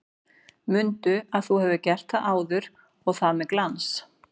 Mundu að þú hefur gert það áður og það með glans!